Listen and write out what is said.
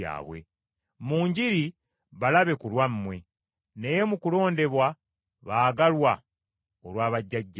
Mu njiri balabe ku lwammwe, naye mu kulondebwa baagalwa olwa bajjajjaabwe.